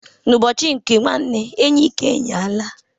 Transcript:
Ụbọchị nke nwanne enyi ka enyi alaa.